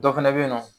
Dɔ fɛnɛ be yen nɔ